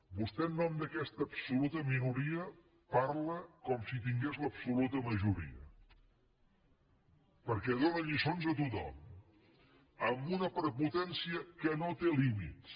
vostè en nom d’aquesta absoluta minoria parla com si tingués l’absoluta majoria perquè dóna lliçons a tothom amb una prepotència que no té límits